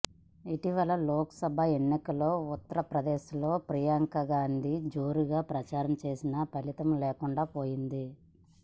ఇటీవల లోక్ సభ ఎన్నికల్లో ఉత్తరప్రదేశ్ లో ప్రియాంకా గాంధీ జోరుగా ప్రచారం చేసినా ఫలితం లేకుండా పోయింది